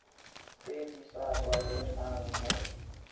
tse di sa tlwaelegang mo